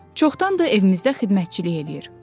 Çoxdandır evimizdə xidmətçilik eləyir.”